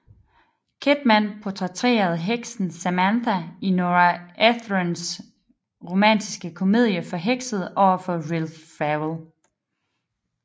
Kidman portrætterede heksen Samantha i Nora Ephrons romantiske komedie Forhekset overfor Will Ferrell